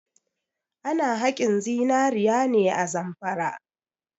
Ana haƙin zinare ne a Zamfara.